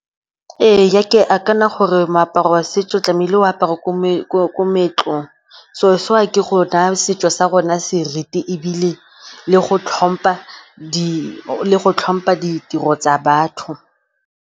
Ee, ke gore moaparo wa setso tlamehile o aparwa ko moetlong. So se wa ke go naya setso sa rona seriti ebile le go tlhompha ditiro tsa batho.